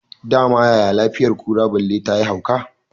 Dama yaya lafiyar kura balle tayi hauka